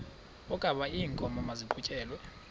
wokaba iinkomo maziqhutyelwe